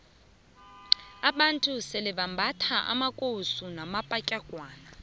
abantu sebambatha amakowusu namapatlagwana